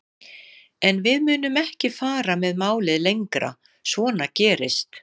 En við munum ekki fara með málið lengra, svona gerist